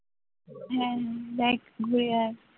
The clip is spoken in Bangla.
হ্যাঁ দেখ ঘুরে আয়